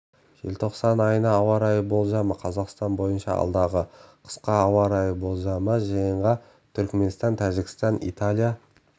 желтоқсан айына ауа райы болжамы қазақстан бойынша алдағы қысқа ауа райы болжамы жиынға түркменстан тәжікстан италия